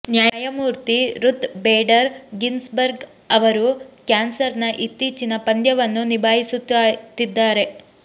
ನ್ಯಾಯಮೂರ್ತಿ Ruth Bader Ginsburg ಅವರು ಕ್ಯಾನ್ಸರ್ನ ಇತ್ತೀಚಿನ ಪಂದ್ಯವನ್ನು ನಿಭಾಯಿಸುತ್ತಿದ್ದಾರೆ